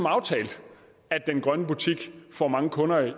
aftalt at den grønne butik får mange kunder i